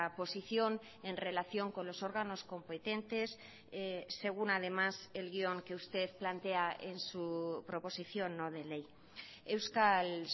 posición en relación con los órganos competentes según además el guión que usted plantea en su proposición no de ley euskal